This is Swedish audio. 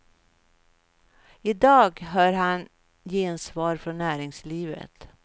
I dag hör han gensvar från näringslivet.